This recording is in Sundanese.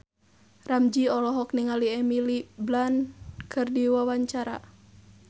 Ramzy olohok ningali Emily Blunt keur diwawancara